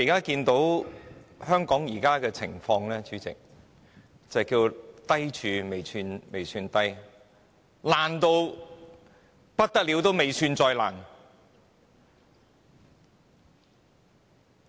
主席，香港現時的情況可謂"低處未算低"，"爛透仍未算最爛"。